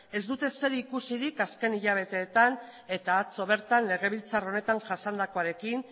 ez dute zerikusirik azken hilabeteetan eta atzo bertan legebiltzar honetan jasandakoarekin